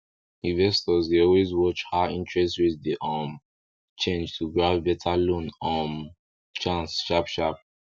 investors dey always watch how interest rate dey um change to grab better loan um chance sharp sharp